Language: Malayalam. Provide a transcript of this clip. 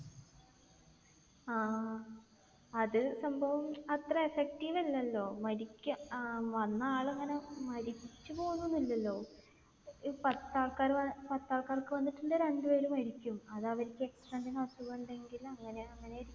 ആഹ് അത് സംഭവം അത്ര effective അല്ലല്ലോ. മരിക്ക ആഹ് വന്ന ആൾ ഇങ്ങനെ മരിച്ച് പോകുന്നൊന്നുമില്ലല്ലോ. പത്ത് ആൾക്കാർക്ക് വന്നിട്ടുണ്ടെങ്കിൽ രണ്ട് പേര് മരിക്കും. അത് അവർക്ക് extra എന്തെങ്കിലും അസുഖം ഇണ്ടെങ്കിൽ അങ്ങനെ. അങ്ങനെ ആയിരിക്കും.